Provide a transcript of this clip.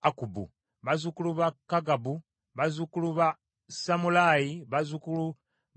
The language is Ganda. bazzukulu ba Kagabu, bazzukulu ba Samulaayi, bazzukulu ba Kanani,